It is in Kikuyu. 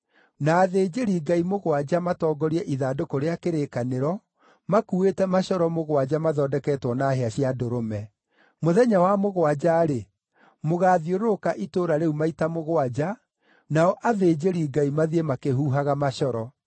Na athĩnjĩri-Ngai mũgwanja matongorie ithandũkũ rĩa kĩrĩkanĩro, makuuĩte macoro mũgwanja mathondeketwo na hĩa cia ndũrũme. Mũthenya wa mũgwanja-rĩ, mũgaathiũrũrũka itũũra rĩu maita mũgwanja, nao athĩnjĩri-Ngai mathiĩ makĩhuhaga macoro.